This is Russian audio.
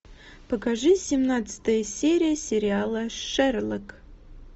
покажи семнадцатая серия сериала шерлок